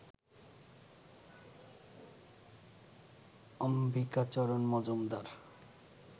Ambikacharan Majumdar